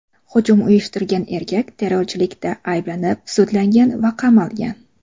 Hujum uyushtirgan erkak terrorchilikda ayblanib sudlangan va qamalgan.